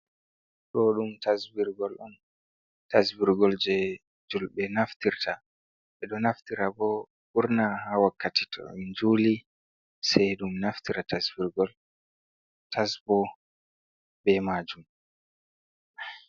Ɗo ɗum tasbirgol on, tasbirgol je julbe naftirta ɓe ɗo naftirta ɓo ɓurna ha wakkati to in juli sai ɗum naftira tasbirgol tas bo be majum.